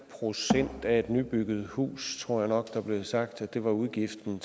procent af et nybygget hus tror jeg nok der blev sagt var udgiften